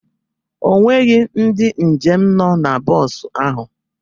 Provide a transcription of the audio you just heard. O nweghị ndị njem nọ na bọs ahụ.